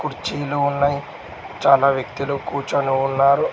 కుర్చీలు ఉన్నాయ్ చాలా వ్యక్తులు కూర్చొని ఉన్నారు.